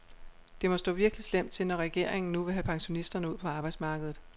Det må stå virkelig slemt til, når regeringen nu vil have pensionisterne ud på arbejdsmarkedet.